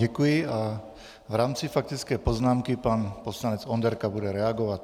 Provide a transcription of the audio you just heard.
Děkuji a v rámci faktické poznámky pan poslanec Onderka bude reagovat.